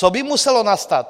Co by muselo nastat?